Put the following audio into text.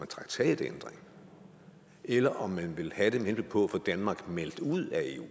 traktatændring eller om man vil have den med henblik på at få danmark meldt ud af eu